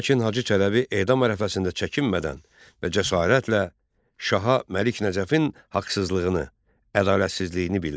Lakin Hacı Çələbi edam ərəfəsində çəkinmədən və cəsarətlə şaha Məlik Nəcəfin haqsızlığını, ədalətsizliyini bildirdi.